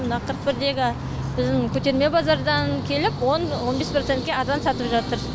мына қырық бірдегі біздің көтерме базардан келіп он он бес процентке арзан сатып жатыр